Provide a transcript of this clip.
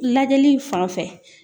Lajɛli fan fɛ